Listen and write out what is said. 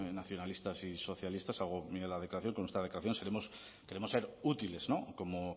nacionalistas y socialistas hago mía la declaración constar la declaración seremos queremos ser útiles como